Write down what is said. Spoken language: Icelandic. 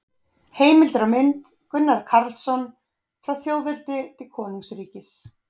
Heimildir og mynd: Gunnar Karlsson: Frá þjóðveldi til konungsríkis